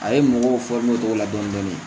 A ye mɔgɔw o cogo la dɔɔnin dɔɔnin